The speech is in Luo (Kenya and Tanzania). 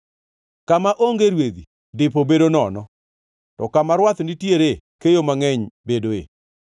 Kama onge rwedhi, dipo bedo nono, to kama rwath nitiere keyo mangʼeny bedoe.